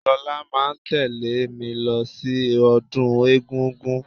Lọlá máa tẹ̀lẹ́ mí lọ sí ọdún egúngún.